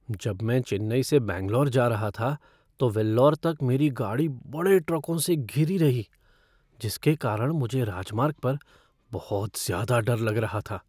जब मैं चेन्नई से बैंगलोर जा रहा था तो वेल्लोर तक मेरी गाड़ी बड़े ट्रकों से घिरी रही जिसके कारण मुझे राजमार्ग पर बहुत ज्यादा डर लग रहा था।